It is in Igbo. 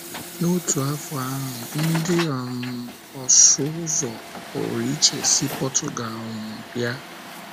N’otu afọ ahụ, ndị um ọsụ ụzọ pụrụ iche si Portugal um bịa um.